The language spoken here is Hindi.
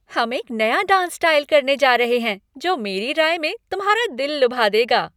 हम एक नया डांस स्टाइल करने जा रहे हैं जो मेरी राय में तुम्हारा दिल लुभा देगा।